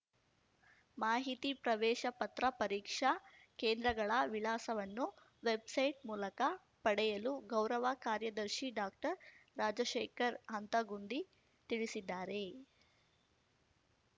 ಮಾಹಿತಿ ಪ್ರವೇಶ ಪತ್ರ ಪರೀಕ್ಷಾ ಕೇಂದ್ರಗಳ ವಿಳಾಸವನ್ನು ವೆಬ್‌ಸೈಟ್‌ಮೂಲಕ ಪಡೆಯಲು ಗೌರವ ಕಾರ್ಯದರ್ಶಿ ಡಾಕ್ಟರ್ರಾಜಶೇಖರ ಹಂತಗುಂದಿ ತಿಳಿಸಿದ್ದಾರೆ